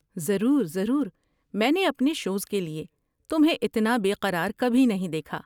ضرور ضرور، میں نے اپنے شوز کے لیے تمہیں اتنا بے قرار کبھی نہیں دیکھا!